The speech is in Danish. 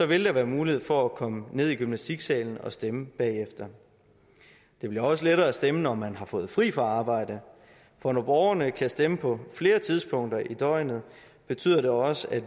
vil der være mulighed for at komme ned i gymnastiksalen og stemme bagefter det bliver også lettere at stemme når man har fået fri fra arbejde for når borgerne kan stemme på flere tidspunkter i døgnet betyder det også at